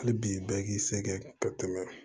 Hali bi bɛɛ k'i sɛgɛn ka tɛmɛ